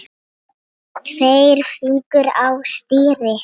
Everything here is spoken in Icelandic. Tveir fingur á stýri.